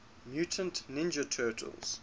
mutant ninja turtles